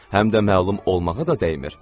Həm də məlum olmağa da dəymir.